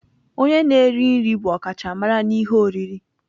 Onye na-eri nri bụ ọkachamara n'ihe oriri.